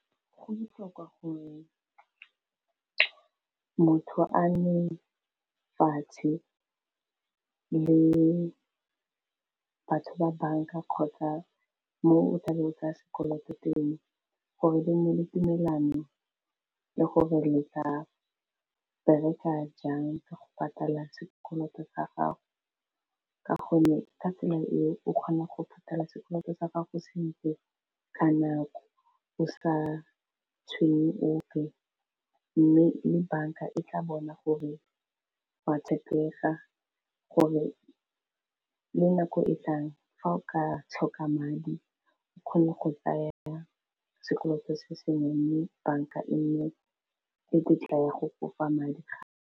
Go botlhokwa gore motho a nne fatshe le batho ba banka, kgotsa mo o tlabe o tsaya sekoloto teng gore le mo ditumelano le gore le tla bereka jang ka go patala sekoloto sa gago, ka gonne ka tsela eo o kgona go patala sekoloto sa gago sentle ka nako, o sa tshwenye ope mme le banka e tla bona gore wa tshepega gore le nako e tlang fa o ka tlhoka madi, o kgone go tsaya sekoloto se sengwe mme banka e nnye le tletla ya go kopa madi a.